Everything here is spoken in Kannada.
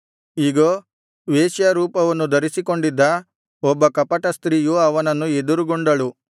ಇಗೋ ವೇಶ್ಯಾರೂಪವನ್ನು ಧರಿಸಿಕೊಂಡಿದ್ದ ಒಬ್ಬ ಕಪಟ ಸ್ತ್ರೀಯು ಅವನನ್ನು ಎದುರುಗೊಂಡಳು